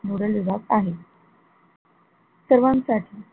nodle विभाग आहेत सर्वांसाठी,